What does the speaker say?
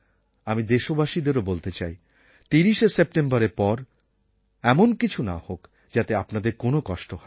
আমি দেশবাসীদেরও বলতে চাই ৩০শে সেপ্টেম্বরের পর এমন কিছু না হোক যাতে আপনাদের কোনও কষ্ট হয়